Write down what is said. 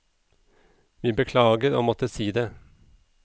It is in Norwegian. Vi beklager å måtte si det.